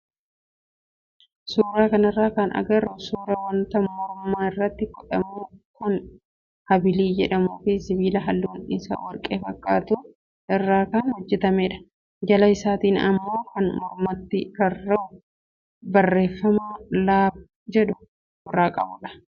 Suuraa kanarraa kan agarru suuraa wanta morma irratti godhamu kan habilii jedhamuu fi sibiila halluun isaa warqee fakkaatu irraa kan hojjatamedha. Jala isaatti immoo kan mormatti rarra'u barreeffama "Love" jedhu ofirraa qabudha.